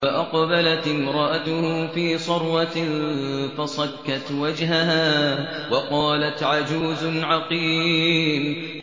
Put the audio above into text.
فَأَقْبَلَتِ امْرَأَتُهُ فِي صَرَّةٍ فَصَكَّتْ وَجْهَهَا وَقَالَتْ عَجُوزٌ عَقِيمٌ